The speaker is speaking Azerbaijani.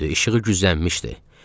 İşığı güzgülənmişdi.